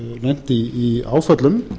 lent í áföllum